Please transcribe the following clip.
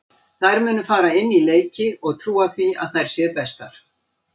Þær munu fara inn í leiki og trúa því að þær séu bestar.